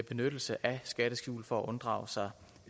benyttelse af skatteskjul for at unddrage sig